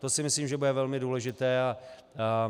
To si myslím, že bude velmi důležité.